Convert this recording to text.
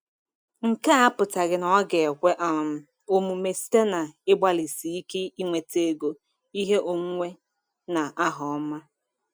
Nke a apụtaghị na ọ ga-ekwe um omume site n’ịgbalịsi ike inweta ego, ihe onwunwe, na aha ọma.